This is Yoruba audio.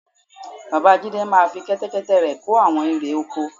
Bàbá Jídé máa fi Kẹ́tẹ́kẹ́tẹ́ rẹ̀ kó àwọn irè oko